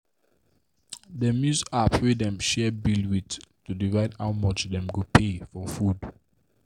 dem dey use app wey dem share bill with to divide how much dem go pay for food.